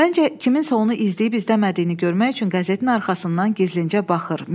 Məncə kiminsə onu izləyib izləmədiyini görmək üçün qəzetin arxasından gizlincə baxır.